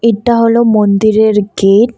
এটা হলো মন্দিরের গেট ।